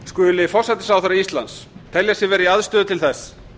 skuli forsætisráðherra íslands telja sig vera í aðstöðu til þess